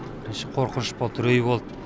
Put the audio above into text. бірінші қорқыныш болды үрей болды